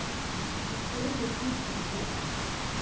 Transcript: Ég stóð við hlið þér í gær.